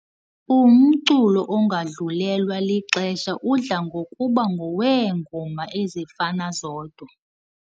Umculo ongadlulelwa lixesha udla ngokuba ngoweengoma ezifana zodwa.